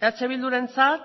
eh bildurentzat